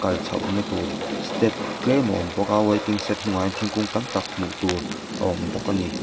kal chhoh na tur step tlem a awm bawk a waiting shed hnungah hian thingkung tam tak hmuh tur a awm bawk ani.